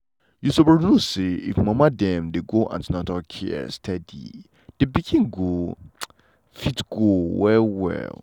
you suppose know say if mama dem dey go an ten atal care steady the pikin go fit go well well.